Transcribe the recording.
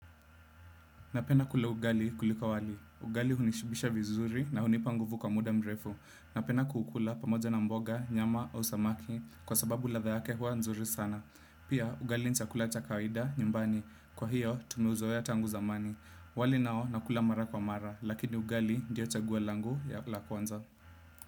Napenda kula ugali kuliko wali. Ugali hunishibisha vizuri na hunipa nguvu kwa muda mrefu. Napenda kukula pamoja na mboga, nyama au samaki kwa sababu ladha yake huwa nzuri sana. Pia ugali ni chakula cha kawaida nyumbani. Kwa hiyo, tumeuzoea tangu zamani. Wali nao nakula mara kwa mara, lakini ugali ndio chaguo langu ya la kwanza.